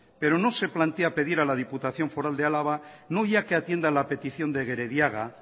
pero no se plantea pedir a la diputación foral de álava no ya que atienda a la petición de gerediaga